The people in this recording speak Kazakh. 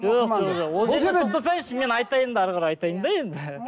жоқ жоқ жоқ ол жерде тоқтасаңызшы мен айтайын да әрі қарай айтайын да енді